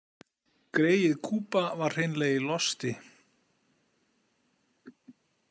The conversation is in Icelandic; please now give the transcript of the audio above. Greyið Kuba var hreinlega í losti.